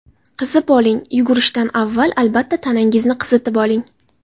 Qizib oling Yugurishdan avval albatta tanangizni qizitib oling.